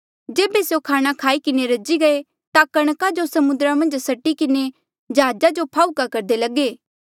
जेबे स्यों खाणा खाई किन्हें रजी गये ता कणका जो समुद्रा मन्झ सटी किन्हें जहाजा जो फाहूका करदे लगे